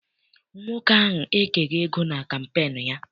Nwoke ahụ ekeghị ego na kampeenu ya.